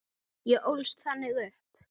Ég ólst þannig upp.